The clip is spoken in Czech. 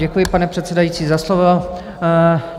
Děkuji, pane předsedající, za slovo.